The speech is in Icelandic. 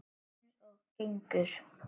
Eins og gengur.